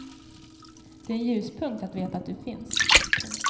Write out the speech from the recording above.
Det är en ljuspunkt att veta att du finns. punkt